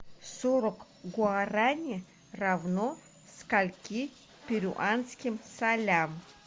сорок гуарани равно скольки перуанским солям